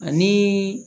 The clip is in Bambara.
Ani